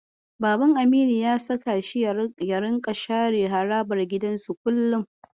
Baban Aminu ya saka shi ya ringa share harabar gidansu kullum.